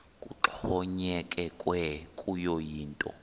kuxhonyekekwe kuyo yinto